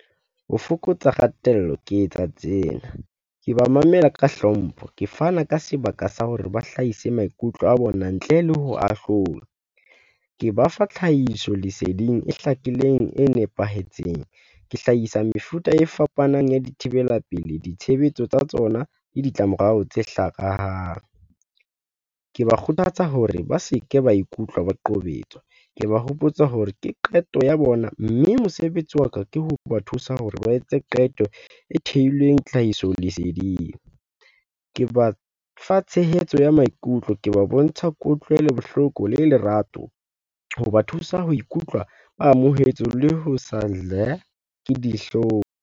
Ho fokotsa kgatello ke etsa tsena. Ke ba mamela ka hlompho, ke fana ka sebaka sa hore ba hlahise maikutlo a bona ntle le ho ahlolwa. Ke ba fa tlhahiso leseding e hlakileng, e nepahetseng. Ke hlahisa mefuta e fapanang ya dithibela pelehi, ditshebetso tsa tsona le ditlamorao tse . Ke ba kgothatsa hore ba se ke ba ikutlwa ba qobetswa. Ke ba hopotsa hore ke qeto ya bona, mme mosebetsi wa ka ke hoba thusa hore ba etse qeto e thehilweng tlhahiso leseding. Ke ba fa tshehetso ya maikutlo, ke ba bontsha kutlwelobohloko le lerato hoba thusa ho ikutlwa ba amohetswe le ho sa ke dihlong.